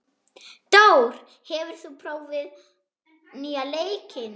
Dór, hefur þú prófað nýja leikinn?